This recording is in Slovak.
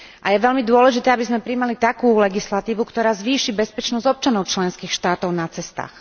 Je veľmi dôležité, aby sme prijímali takú legislatívu, ktorá zvýši bezpečnosť občanov členských štátov na cestách.